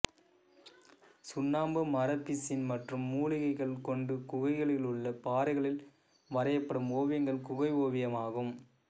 சுண்ணாம்பு மரப்பிசின் மற்றும் மூலிகைகள் கொண்டு குகைகளிலுள்ள பாறைகளில் வரையப்படும் ஓவியங்கள் குகை ஓவியமாகும்